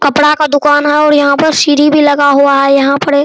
कपड़ा का दुकान है और यहाँ पर सीढ़ी भी लगा हुआ है यहां पर एक --